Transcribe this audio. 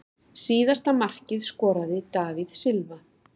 Síðasta markið skoraði David Silva.